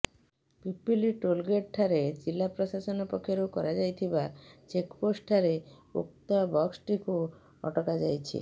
Pipili tollgate ଠାରେ ଜିଲା ପ୍ରଶାସନ ପକ୍ଷରୁ କରାଯାଇଥିବା ଚେକ୍ପୋଷ୍ଟ ଠାରେ ଉକ୍ତ ବସ୍ଟିକୁ ଅଟକା ଯାଇଛି